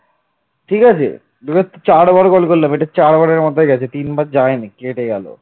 ঠিক আছে direct চারবার call করলাম চার বারের মাথায় গেছে তিনবার যায়নি কেটে গেছে